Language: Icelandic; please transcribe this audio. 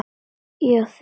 Já þið!